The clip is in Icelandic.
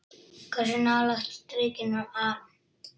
Hversu nálægt strikinu var hann?